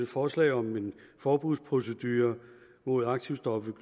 forslag om en forbudsprocedure mod aktivstoffet